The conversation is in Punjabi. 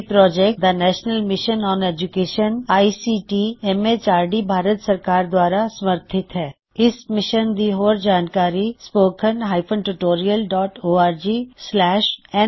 ਇਹ ਪ੍ਰੌਜੈਕਟ ਦਾ national mission on education I C T M H R D the national mission on education ICT MHRD Bharat ਸਰਕਾਰ ਦ੍ਵਾਰਾ ਸਮਰਥਿਤ ਹੈ